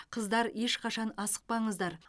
қыздар ешқашан асықпаңыздар